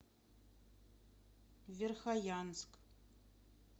верхоянск